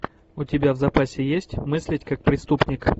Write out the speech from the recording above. у тебя в запасе есть мыслить как преступник